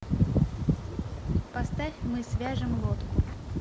поставь мы свяжем лодку